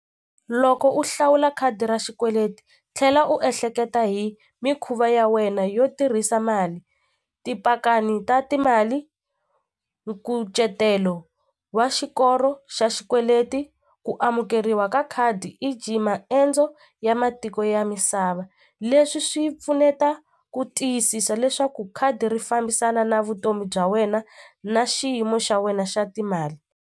Loko u hlawula khadi ra xikweleti tlhela u ehleketa hi mikhuva ya wena yo tirhisa mali, tipakani ta timali, nkucetelo wa xa xikweleti ku amukeriwa ka khadi E_G maendzo ya matiko ya misava leswi swi pfuneta ku tiyisisa leswaku khadi ri fambisana na vutomi bya wena na xiyimo xa wena xa timali.